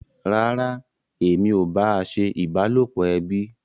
Rárá, èmi ò bá a ṣe ìbálòpọ̀ ẹbí